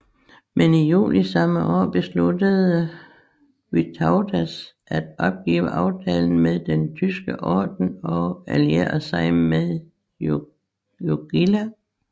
Men i juli samme år besluttede Vytautas at opgive aftalen med Den Tyske Orden og alliere sig med Jogaila